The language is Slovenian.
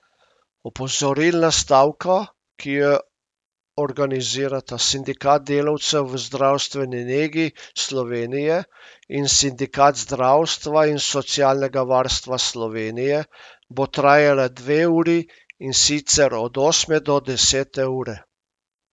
Opozorilna stavka, ki jo organizirata Sindikat delavcev v zdravstveni negi Slovenije in Sindikat zdravstva in socialnega varstva Slovenije, bo trajala dve uri, in sicer od osme do desete ure.